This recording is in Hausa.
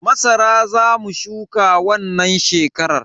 Masara Za mu shuka wannan shekarar.